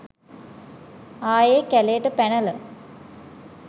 ආයේ කැලේට පැනල